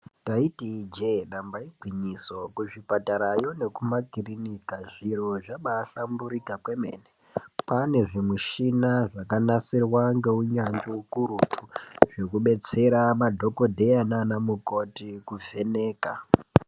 Taiti Ije damba igwinyiso kuzvipatara nekumakiriniki zviro zvabahlamburuka kwemene kwane zvimushini zvakanasirwa neunyanzvi ukurutu zvekudetsera madhokodheya nana mukoti kuvheneka.